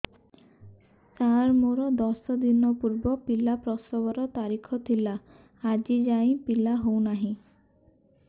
ସାର ମୋର ଦଶ ଦିନ ପୂର୍ବ ପିଲା ପ୍ରସଵ ର ତାରିଖ ଥିଲା ଆଜି ଯାଇଁ ପିଲା ହଉ ନାହିଁ